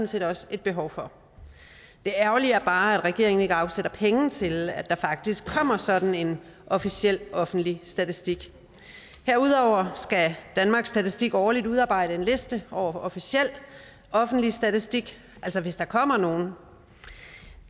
set også et behov for det ærgerlige er bare at regeringen ikke afsætter penge til at der faktisk kommer sådan en officiel offentlig statistik herudover skal danmarks statistik årligt udarbejde en liste over officiel offentlig statistik altså hvis der kommer nogen